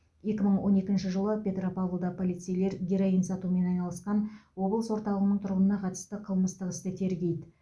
екі мың он екінші жылы петропавлда полицейлер героин сатумен айналысқан облыс орталығының тұрғынына қатысты қылмыстық істі тергейді